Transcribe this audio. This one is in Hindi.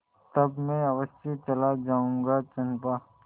तब मैं अवश्य चला जाऊँगा चंपा